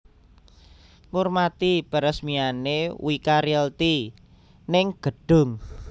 Ngurmati peresmiane Wika Realty ning gedhung